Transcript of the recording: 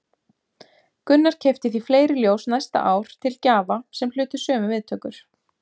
Gunnar keypti því fleiri ljós næsta ár til gjafa sem hlutu sömu viðtökur.